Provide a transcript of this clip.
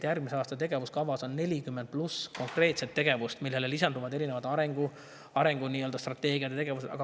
Järgmise aasta tegevuskavas on 40 pluss konkreetset tegevust, millele lisanduvad erinevad arengustrateegiad ja ‑tegevused.